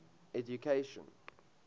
education